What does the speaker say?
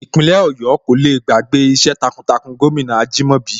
Ìpínlẹ̀ Ọ̀yọ́ kò le gbàgbé iṣẹ́ takuntakun gómìnà Ajìmọ́bi